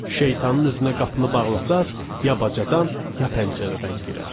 Şeytanın üzünə qapını bağlasanız, ya bacadan, ya pəncərədən girər.